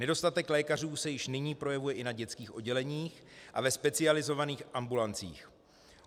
Nedostatek lékařů se již nyní projevuje i na dětských odděleních a ve specializovaných ambulancích.